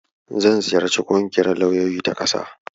Zan ziyarci ƙungiyar lauyoyi ta ƙasa gobe.